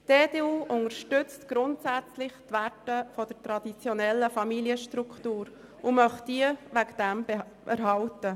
Die EDU unterstützt grundsätzlich die Werte einer traditionellen Familienstruktur und möchte sie deswegen erhalten.